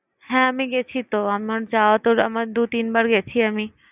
হ্যাঁ আমি গেছি তো। আমার যাওয়াতো আমার দু-তিন বার গেছি আমি।